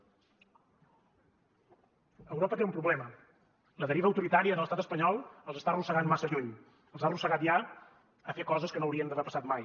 europa té un problema la deriva autoritària de l’estat espanyol els està arrossegant massa lluny els ha arrossegat ja a fer coses que no haurien d’haver passat mai